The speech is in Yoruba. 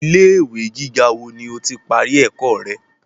Ilé ìwé gíga wo ni o ti parí ẹ̀kọ́ rẹ?